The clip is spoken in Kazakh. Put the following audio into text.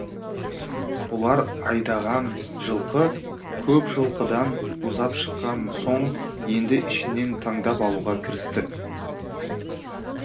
бұлар айдаған жылқы көп жылқыдан ұзап шыққан соң енді ішінен таңдап алуға кірісті